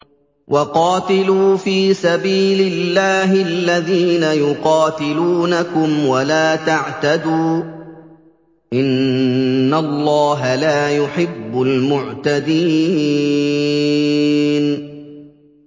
وَقَاتِلُوا فِي سَبِيلِ اللَّهِ الَّذِينَ يُقَاتِلُونَكُمْ وَلَا تَعْتَدُوا ۚ إِنَّ اللَّهَ لَا يُحِبُّ الْمُعْتَدِينَ